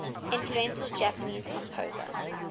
influential japanese composer